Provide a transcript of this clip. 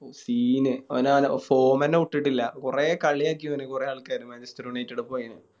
ഓ Scene അവന് ആ Form ന്നെ വിട്ടിട്ടില്ല കൊറേ കളിയാക്കിവന് കൊറേ ആൾക്കാര് Manchester united ൽ പോയെന്